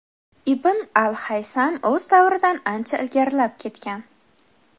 Ibn al-Haysam o‘z davridan ancha ilgarilab ketgan.